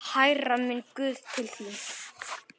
Hærra, minn guð, til þín.